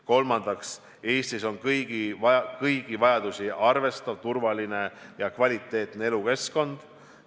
Kolmandaks, Eestis on kõigi vajadusi arvestav, turvaline ja kvaliteetne elukeskkond.